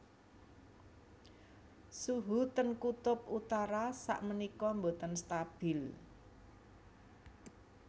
Suhu ten kutub utara sak menika mboten stabil